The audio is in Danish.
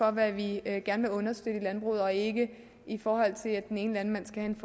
om hvad vi gerne vil understøtte i landbruget og ikke i forhold til at den ene landmand skal